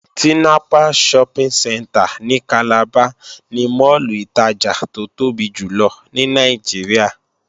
Tinapa Shopping Centre ní Calabar ni máàlù ìtajà tó tóbi jùlọ ní Nàìjíríà